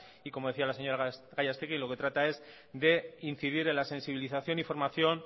y como decía la señora gallastegui lo que trata es de incidir en la sensibilización y formación